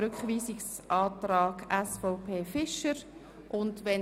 Rückweisung mit folgenden Auflagen: